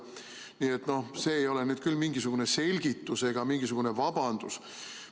Nii et see ei ole nüüd küll mingisugune selgitus ega mingisugune vabandus.